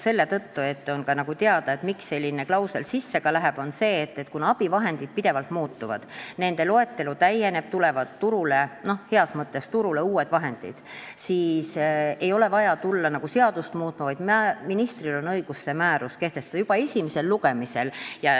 Kuna on teada, et abivahendid muutuvad pidevalt, nende loetelu täieneb, sest turule – heas mõttes turule – tulevad uued, siis selline klausel läheb sisse lihtsalt seetõttu, et ei oleks vaja hakata seadust muutma, vaid ministril on õigus see määrus kehtestada.